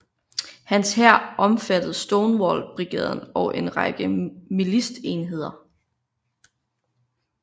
Hans hær omfattede Stonewall Brigaden og en række militsenheder